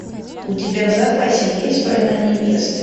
у тебя в запасе есть война невест